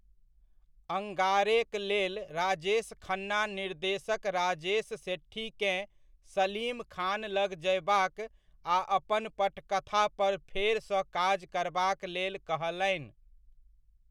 अंगारे'क लेल राजेश खन्ना निर्देशक राजेश सेठीकेँ सलीम खान लग जयबाक आ अपन पटकथा पर फेरसँ काज करबाक लेल कहलनि।